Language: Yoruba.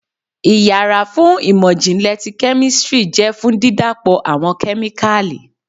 ìyára fún imọ-jinlẹ tí kemistri jẹ fun dídapọ awọn kemíkalí.